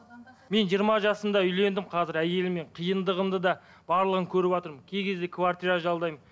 мен жиырма жасымда үйлендім қазір әйеліммен қиындығымды да барлығын көріватырмын кей кезде квартира жалдаймын